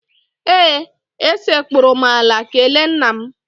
Ee, esekpuru m ala kelee nna m.